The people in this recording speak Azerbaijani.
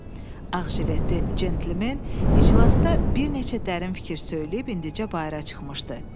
Ağjiletli centlmen iclasda bir neçə dərin fikir söyləyib indicə bayıra çıxmışdı.